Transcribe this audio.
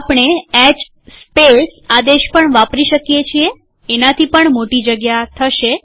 આપણે H space આદેશ પણ વાપરી શકીએ છીએએનાથી પણ મોટી જગ્યા થશે